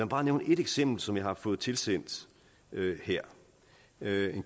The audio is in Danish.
bare nævne et eksempel som jeg har fået tilsendt her det